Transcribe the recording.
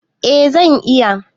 Eh zan iya.